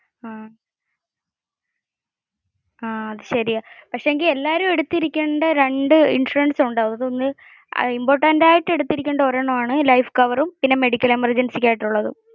ആഹ് അത് ശെരിയാ. പക്ഷെ എങ്കിൽ എല്ലാരും എടുത്തിരിക്കേണ്ട രണ്ടു ഇൻഷുറൻസ് ഉണ്ടു. അതിൽ ഒന്ന് important ആയി എടുത്തിരിക്കേണ്ട ഒരെണ്ണം ആൺ ലൈഫ് കവരും പിന്നെ medical emergency ആയിട്ടുള്ളതും.